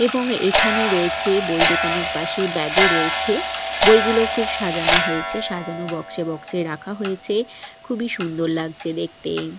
এবং এইখানে রয়েছে বই দোকানের পাশে ব্যাগও -ও রয়েছে বইগুলো খুব সাজানো হয়েছে সাজানো বক্সে -এ বক্সে -এ রাখা হয়েছে খুবই সুন্দর লাগছে দেখতে।